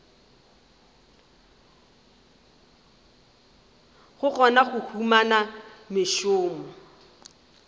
go kgona go humana mešomo